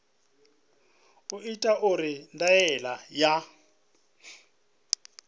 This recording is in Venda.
u itwa uri ndaela ya